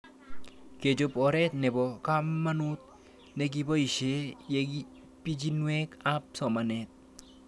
Kechop oret nepo kamanut nekipoishe ye pichinwek ab somanet